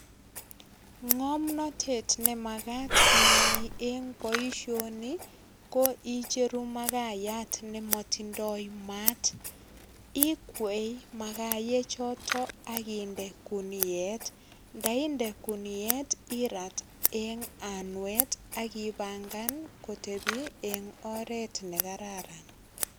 Ngomnotet nemagat inai en boisioni ko icheru makayat nemotindoi mat. Ikwei makayechoto ak inde guniet. Ndainde guniet irat en anwet ak ipangan kotepi en oret nekararan.